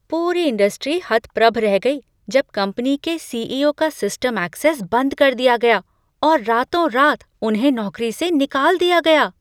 पूरी इंडस्ट्री हतप्रभ रह गई जब कंपनी के सी ई ओ का सिस्टम ऐक्सेस बंद कर दिया गया और रातों रात उन्हें नौकरी से निकाल दिया गया।